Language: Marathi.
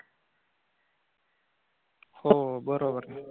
हो बरोबर आहे.